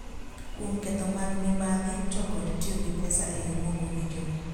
Kuom ketho mag mibadh ito kod tiyo gi pesa e yo mokowinjore